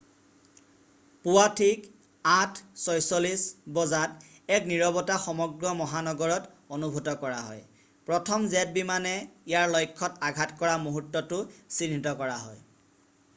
পুৱা ঠিক 8:46 বজাত এক নিৰৱতা সমগ্ৰ মহানগৰত অনুভৱ কৰা হয় প্ৰথম জেট বিমানে ইয়াৰ লক্ষ্যত আঘাত কৰা মূহুৰ্তটো চিহ্নিত কৰা হয়